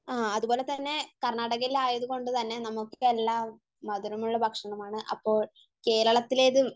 ആഹ് അത് പോലെത്തന്നെ കർണ്ണാടകയിൽ ആയതുകൊണ്ട് തന്നെ നമ്മക്ക് എല്ലാ മധുരമുള്ള ഭക്ഷണമാണ് അപ്പോൾ കേരളത്തിലേതും